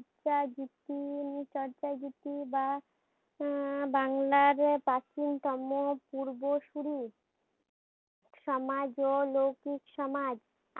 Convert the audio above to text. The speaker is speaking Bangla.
একটা বা আহ বাংলা যে প্রাচীন পূর্ব শুরু। সমাজ ও লৌকিক সমাজ।